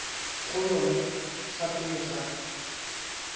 go yone fa pele ga